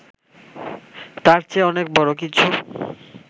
তার চেয়ে অনেক বড় কিছু